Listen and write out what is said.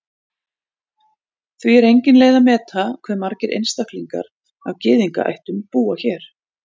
því er engin leið að meta hve margir einstaklingar af gyðingaættum búa hér